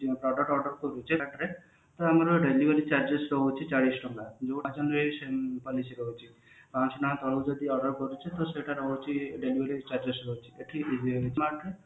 product order କରୁଛେ ତା ଆମର delivery charges ରହୁଛି ଚାଳିଶି ଟଙ୍କା policy ରହୁଛି ପାଞ୍ଚଶହ ଟଙ୍କା ତଳକୁ ଯଦି order କରୁଛେ ତ ସେଟା ରହୁଛିdelivery charges ରହୁଛି ଏଠି